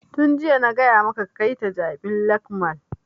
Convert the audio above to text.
Tun jiya na gaya maka ka kai ta jabi lake mall!